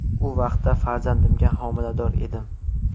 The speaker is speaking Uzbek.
U vaqtda farzandimga homilador edim.